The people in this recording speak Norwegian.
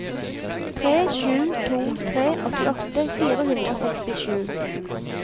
tre sju to tre åttiåtte fire hundre og sekstisju